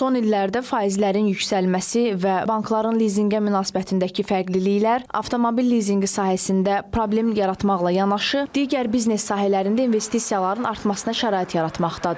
Son illərdə faizlərin yüksəlməsi və bankların lizinqə münasibətindəki fərqliliklər avtomobil lizinqi sahəsində problem yaratmaqla yanaşı digər biznes sahələrində investisiyaların artmasına şərait yaratmaqdadır.